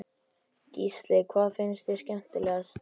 Gísli: Hvað finnst þér skemmtilegast?